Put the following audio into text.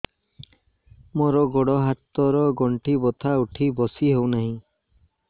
ମୋର ଗୋଡ଼ ହାତ ର ଗଣ୍ଠି ବଥା ଉଠି ବସି ହେଉନାହିଁ